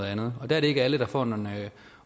andet det er ikke alle der får en